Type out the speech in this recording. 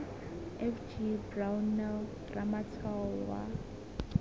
f g brownell ramatshwao wa